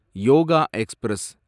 yoga express